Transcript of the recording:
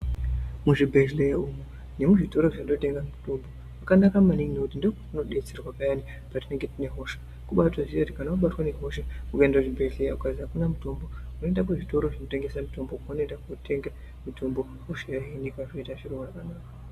Muzvibhedhleya umu nemuzvitora zvinotenga mutombo kwakanaka maningi ngekuti ndokwatinodetserwa payani patinenge yine hosha kubaatoziye kuti ukaenda kuchibhedhleya ukazi akuna mutombo unoenda kuzvitora zvinotengese mutombo kwaunoende kotenga mutombo hosha yohinika zvoite zviro zvakanaka.